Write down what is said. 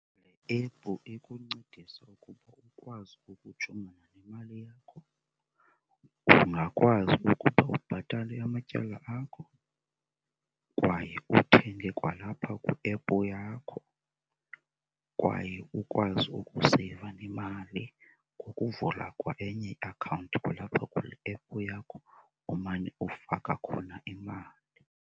Le ephu ikuncedisa ukuba ukwazi ukujongana nemali yakho, ungakwazi ukuba ubhatale amatyala akho kwaye uthenge kwalapha kwiephu yakho. Kwaye ukwazi ukuseyiva nemali ngokuvula kwa enye iakhawunti kwalapha kule ephu yakho umane ufaka khona imali.